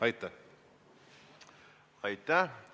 Aitäh!